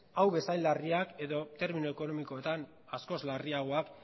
hau bezain larriak edo termiko ekonomikoetan askoz larriagoak